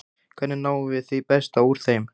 Hvernig náum við því besta úr þeim?